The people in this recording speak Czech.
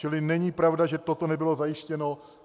Čili není pravda, že toto nebylo zajištěno.